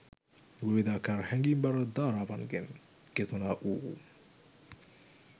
විවිධාකාර හැඟීම්බර ධාරණාවන්ගෙන් ගෙතුනා වු